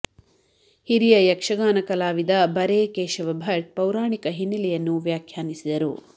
ಹಿರಿಯ ಯಕ್ಷಗಾನ ಕಲಾವಿದ ಬರೆ ಕೇಶವ ಭಟ್ ಪೌರಾಣಿಕ ಹಿನ್ನಲೆಯನ್ನು ವ್ಯಾಖ್ಯಾನಿಸಿದರು